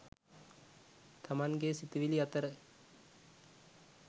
තමන්ගේ සිතිවිලි අතර